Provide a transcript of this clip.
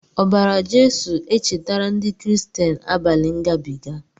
Obara Jesu echetara ndi kristian abali ngabiga.